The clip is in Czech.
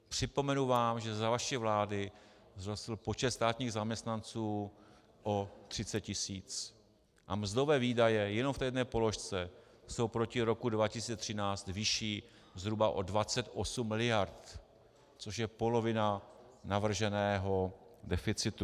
Připomenu vám, že za vaši vlády vzrostl počet státních zaměstnanců o 30 tisíc a mzdové výdaje jenom v té jedné položce jsou proti roku 2013 vyšší zhruba o 28 miliard, což je polovina navrženého deficitu.